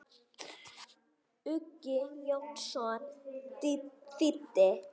Uggi Jónsson þýddi.